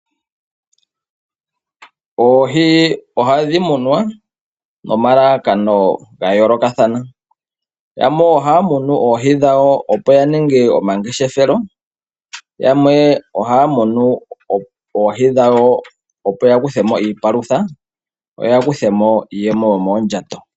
Oohi ohadhi munwa nomalalakano ga yoolokathana .yamwe ohaya munu oohi dhawo opo ya ninge omangeshefelo yamwe ohaya munu oohi dhawo opo yakuthemo iipalutha yo ya kuthemo iiyemo yomoondjato.